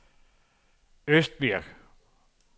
Østbirk